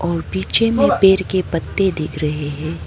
और पीछे में पेड़ के पत्ते दिख रहे है।